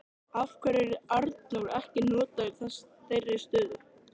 Af hverju er Arnór ekki notaður í þeirri stöðu?